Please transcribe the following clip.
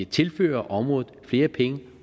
tilført området flere penge